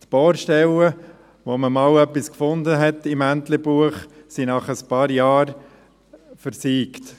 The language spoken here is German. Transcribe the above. Die Bohrstellen im Entlebuch, an denen einmal etwas gefunden wurde, sind nach ein paar Jahren versiegt.